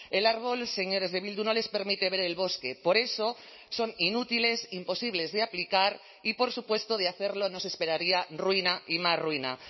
el árbol señores de bildu no les permite ver el bosque por eso son inútiles imposibles de aplicar y por supuesto de hacerlo nos esperaría ruina y más ruina